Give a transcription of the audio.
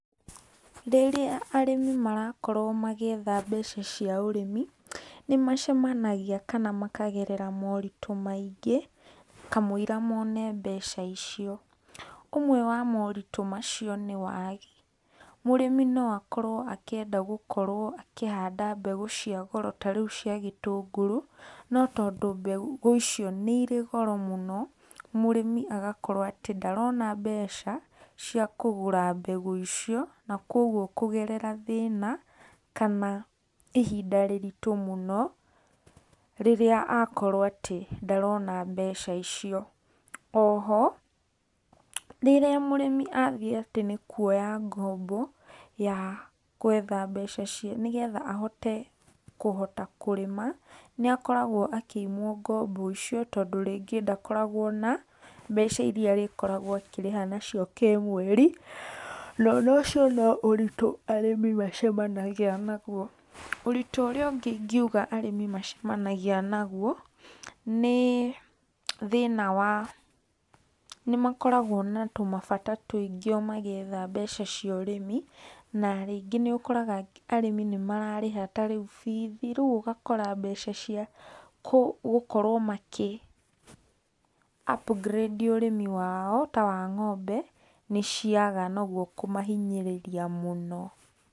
Rĩrĩa arĩmi marakorwo magĩetha mbeca cia ũrĩmi, nĩmacemanagĩa kana makagerera moritũ maingĩ kamũira mone mbeca icio. Ũmwe wa moritũ macio nĩ wagĩ, mũrĩmĩ no akorwo akĩenda gũkorwo akihanda mbegũ cia goro ta rĩũ cia gĩtũngũrũ, no tondũ mbegũ icio nĩ irĩ goro mũno, mũrĩmi agakorwo atĩ ndarona mbeca cĩa kũgũra mbegũ icio, na kuogwo kũgerera thĩna, kana ihinda rĩritũ mũno, rĩrĩa akorwo atĩ ndarona mbeca icio. Oho rĩrĩa mũrĩmi atũika nĩa athiĩ atĩ nĩ kũoya ngombo ya kũetha mbeca cia, nĩgetha ahote kũhota kũrĩma, nĩakoragwo akĩimwo ngombo icio, tondũ rĩngĩ ndakoragwo na mbeca iria akoragwo akĩrĩhwo nacio kĩmweri na ũcio no ũritũ arĩmi macemanagĩa nagũo. Ũritũ ũrĩa ũngĩ ingũaga arĩmi macemanagĩa naguo, nĩ thĩna wa nĩ makoragwo na tũmabata tũingĩ o magĩetha mbeca cia ũrĩmi, na rĩngĩ nĩ ũkora arĩmi nĩ mararĩha ta rĩũ bithi, rĩũ ũgakora mbeca cia gũkorwo makĩ upgrade ũrĩmi wao ta wa ngombe, nĩ ciaga na ũgwo kũmahĩnyĩrĩria mũno.